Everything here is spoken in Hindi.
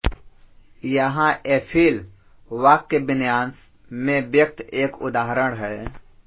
यहाँ एफिल वाक्यविन्यास में व्यक्त एक उदाहरण है